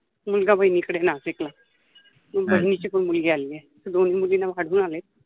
मुलगा बहिनिकडे नाशिकला बहिनिचि पन मुलगि आलि आहे तर दोन्हि मुलिना वाढुन आले.